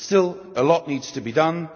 Still a lot needs to be done.